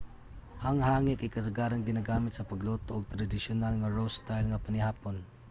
ang hangi kay kasagaran ginagamit sa pagluto og tradisyonal nga roast style nga panihapon